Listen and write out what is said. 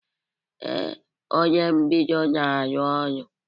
Ee, onye mbido na-arụ ọrụ